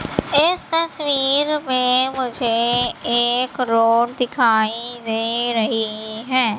इस तस्वीर मुझे रोड दिखाई दे रही हैं।